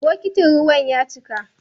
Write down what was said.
Bokitin ruwan ya cika.